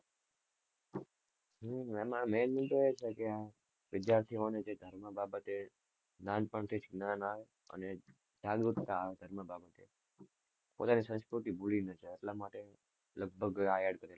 હમ એમા main એ છે કે વિદ્યાર્થીઓ ને જે ધર્મ બાબતે નાનપણ થી નાના અને જાગૃત કરવા માં આવે આ બાબતે સંસ્કૃતિ ભૂલી નાં જાય એટલા માટે લગભગ .